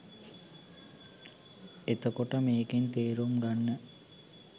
එතකොට මේකෙන් තේරුම් ගන්න